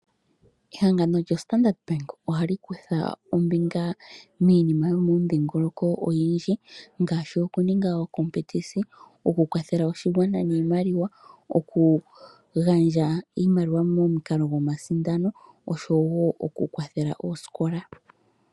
Ehangano lyoStandard Bank ohali kutha ombinga miinima yomomudhingoloko oyindji ngaashi okuninga ookompetisi, okukwathela oshigwana niimaliwa, okugandja iimaliwa momukalo gomasindano oshowo okukwathela oosikola.